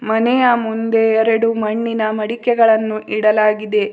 ಮನೆಯ ಮುಂದೆ ಎರಡು ಮಣ್ಣಿನ ಮಡಿಕೆಗಳನ್ನು ಇಡಲಾಗಿದೆ.